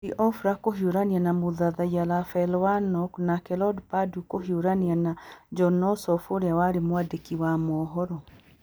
Loeffler kũhiũrania na Mũthathaiya Raphael Warnock nake Lord Perdue kũhiũrania na Jon Ossoff ũrĩa warĩ mwandĩki wa mohoro.